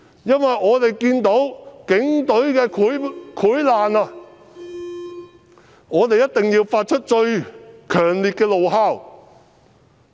因為我們看到警隊的潰爛，我們一定要發出最強烈的怒吼。